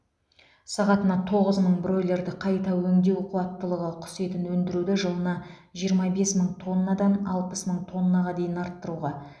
сағатына тоғыз мың бройлерді қайта өңдеу қуаттылығы құс етін өндіруді жылына жиырма бес мың тоннадан алпыс мың тоннаға дейін арттыруға